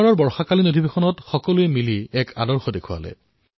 বাৰিষাৰ সত্ৰত এইবাৰ সকলোৱে মিলি এক আদৰ্শ প্ৰস্তুত কৰিছে